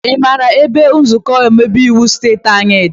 I maara ebe ụlọ nzukọ omeiwu steeti anyị dị?